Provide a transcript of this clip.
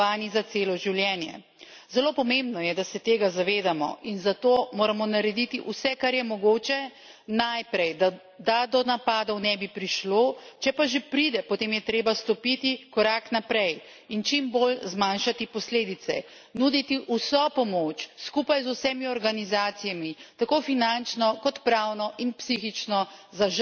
Zelo pomembno je, da se tega zavedamo, in zato moramo narediti vse, kar je mogoče najprej, da do napadov ne bi prišlo, če pa že pride, potem je treba stopiti korak naprej in čim bolj zmanjšati posledice, nuditi vso pomoč, skupaj z vsemi organizacijami, tako finančno kot pravno in psihično za žrtve in njihove svojce.